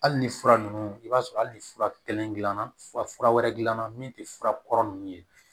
Hali ni fura ninnu i b'a sɔrɔ hali ni fura kelen gilanna fura wɛrɛ gilanna min tɛ fura kɔrɔ ninnu ye